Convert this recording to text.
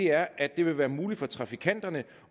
er at det vil være muligt for trafikanterne